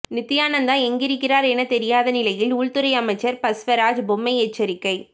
நித்யானந்தா எங்கிருக்கிறார் என தெரியாத நிலையில் உள்துறை அமைச்சர் பஸ்வராஜ் பொம்மை எச்சரிக்கை